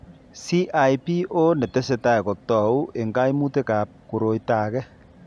CIPO netesetai kotou eng' kaimutikab koroito age .